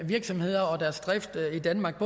virksomheder og deres drift i danmark